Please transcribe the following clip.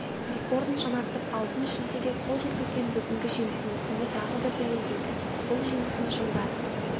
рекордын жаңартып алтын жүлдеге қол жеткізген бүгінгі жеңісің соны тағы бір дәлелдеді бұл жеңісің жылдар